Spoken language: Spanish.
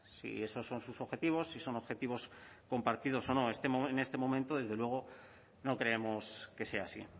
si esos son sus objetivos si son objetivos compartidos o no en este momento desde luego no creemos que sea así